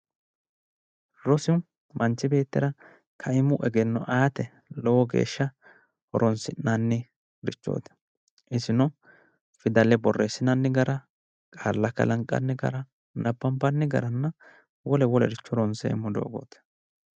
Rosu manchi beettira kaimu egenno aate lowo geeshsha horonsi'nannirichooti isino fidale borreessinanni gara qaalla kalanqanni gara nabbambanni garanna wole wolericho ronseemmo doogooti